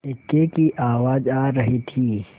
इक्के की आवाज आ रही थी